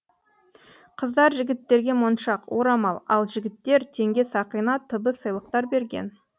қыздар жігіттерге моншақ орамал ал жігіттер теңге сақина т б сыйлықтар берген